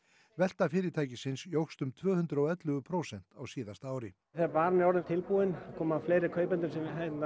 velta fyrirtækisins jókst um tvö hundruð og ellefu prósent á síðasta ári þegar varan er orðin svona tilbúin koma fleiri kaupendur sem